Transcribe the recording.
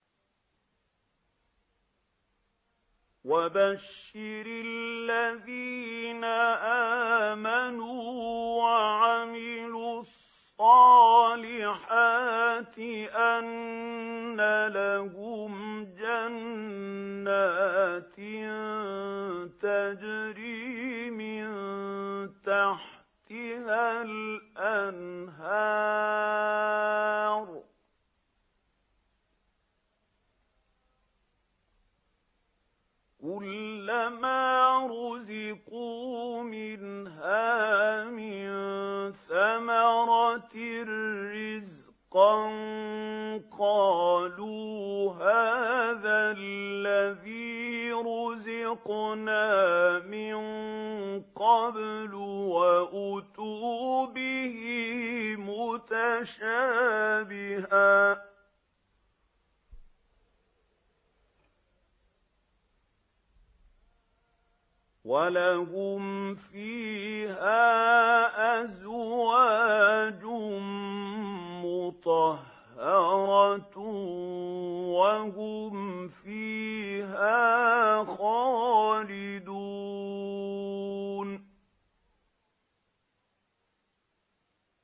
وَبَشِّرِ الَّذِينَ آمَنُوا وَعَمِلُوا الصَّالِحَاتِ أَنَّ لَهُمْ جَنَّاتٍ تَجْرِي مِن تَحْتِهَا الْأَنْهَارُ ۖ كُلَّمَا رُزِقُوا مِنْهَا مِن ثَمَرَةٍ رِّزْقًا ۙ قَالُوا هَٰذَا الَّذِي رُزِقْنَا مِن قَبْلُ ۖ وَأُتُوا بِهِ مُتَشَابِهًا ۖ وَلَهُمْ فِيهَا أَزْوَاجٌ مُّطَهَّرَةٌ ۖ وَهُمْ فِيهَا خَالِدُونَ